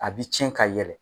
A bi cɛn ka yɛlɛ.